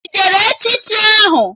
Ị jere echichi ahụ?